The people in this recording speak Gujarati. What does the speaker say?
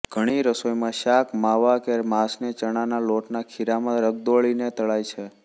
ઘણી રસોઈમાં શાક માવા કે માંસને ચણાના લોટના ખીરામાં રગદોળીને તળાય છે